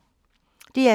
DR2